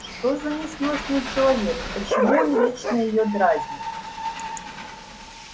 что за несносный человек почему он вечно её дразнит